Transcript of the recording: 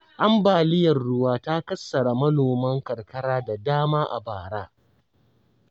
Ambaliyar ruwa ta kassara manoman karkara da dama a bara.